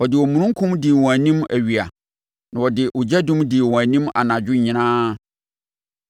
Ɔde omununkum dii wɔn anim awia na ɔde ogyadum dii wɔn anim anadwo nyinaa.